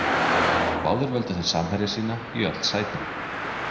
Báðir völdu þeir samherja sína í öll sætin.